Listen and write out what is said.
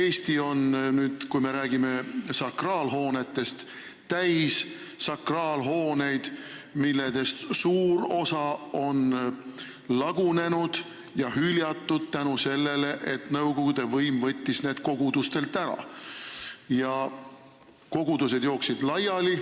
Eesti on, kui me räägime sakraalhoonetest, täis sakraalhooneid, millest suur osa on lagunenud ja hüljatud seetõttu, et nõukogude võim võttis need kogudustelt ära ja kogudused jooksid laiali.